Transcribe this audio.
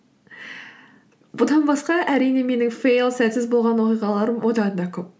бұдан басқа әрине менің фейл сәтсіз болған оқиғаларым одан да көп